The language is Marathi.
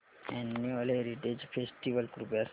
अॅन्युअल हेरिटेज फेस्टिवल कृपया सांगा